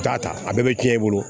Taa ta a bɛɛ bɛ tiɲɛ e bolo